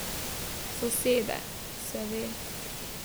Sosede, se ve.